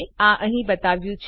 આ અહીં બતાવ્યું છે